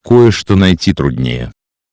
кое-что найти труднее